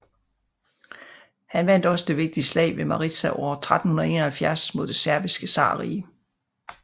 Han vandt også det vigtige slag ved Maritsa år 1371 mod Det Serbiske zarrige